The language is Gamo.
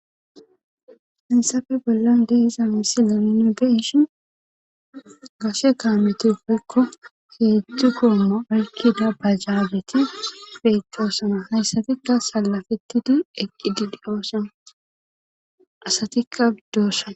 Fensafe bollan deiza misilaninu geishin gashe kaametifekko heedzdzu koomo arkida bajaabeti feedoosama hayssatikka salafetidi eqqidiliyoosana asatikka biddoossana.